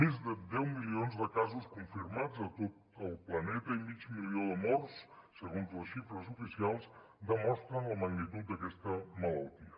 més de deu milions de casos confirmats a tot el planeta i mig milió de morts segons les xifres oficials demostren la magnitud d’aquesta malaltia